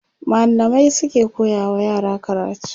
mallamai suke koya wa yara karatu